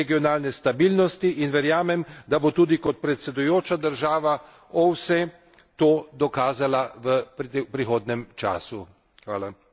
Srbija je pomemben dejavnik regionalne stabilnosti in verjamem, da bo tudi kot predsedujoča država OVSE to dokazala v prihodnjem času.